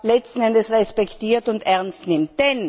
letzten Endes respektiert und ernst nimmt.